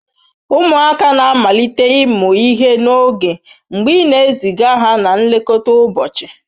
Ụmụaka na-amalite ịmụ ihe n'oge mgbe ị na-eziga ha na nlekọta ụbọchị.